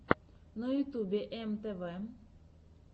на ютубе эм тэ вэ